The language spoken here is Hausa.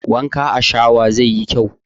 Wanka a shawa zai yi kyau